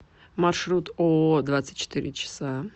маршрут ооо двадцать четыре часа